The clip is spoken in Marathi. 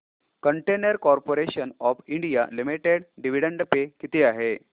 container corporation of India limited dividend pay किती आहे